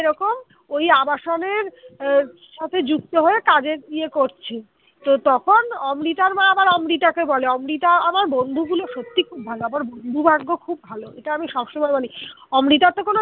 এরকম ওই আবাসনের সাথে যুক্ত হয়ে কাজের ইয়ে করছে তো তখন অমৃতার মা আবার অমৃতাকে বলে অমৃতা আমার বন্ধু গুলো সত্যি খুব ভালো আমার বন্ধু ভাগ্য খুব ভালো। এটা আমি সবসময় মানি অমৃতার তো কোন